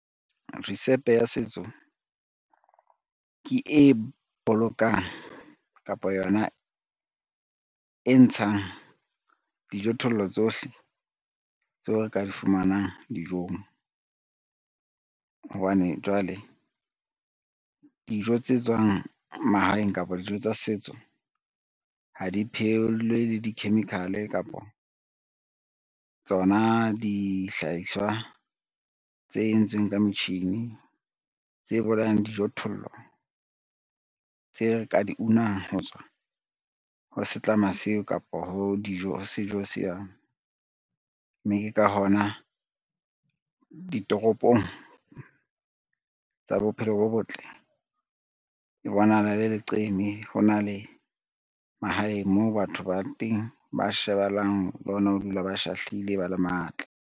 Risepe ya setso ke e bolokang kapa yona e ntshang dijothollo tsohle tseo re ka di fumanang dijong, hobane jwale dijo tse tswang mahaeng kapa dijo tsa setso ha di phehelwe le di-chemical kapa tsona dihlahiswa tse entsweng ka metjhini, tse bolayang dijothollo tse re ka di unang ho tswa ho setlama seo kapa ho sejo seo. Mme ke ka hona ditoropong tsa bophelo bo botle e bonahala e le leqeme, hona le mahaeng moo batho ba teng ba shebahalang le hona ho dula ba shahlile ba le matla.